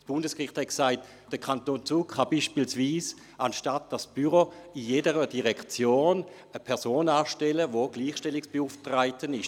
Das Bundesgericht hat gesagt, der Kanton Zug könne beispielsweise anstelle dieses Büros in jeder Direktion eine Person anstellen, die für die Gleichstellung zuständig ist.